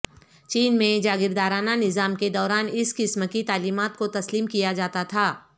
چین میں جاگیردارانہ نظام کے دوران اس قسم کی تعلیمات کو تسلیم کیا جاتا تھا